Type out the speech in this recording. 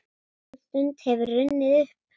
Sú stund hefur runnið upp.